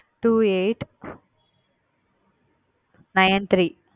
Two eight nine three